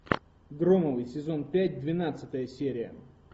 громовы сезон пять двенадцатая серия